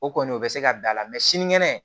O kɔni o bɛ se ka da la mɛ sinikɛnɛ